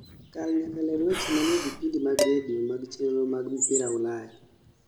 kal nyaka ler weche manie vipindi mag radio mag chenro mag mpira ulaya